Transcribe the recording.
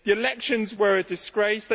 The elections were a disgrace.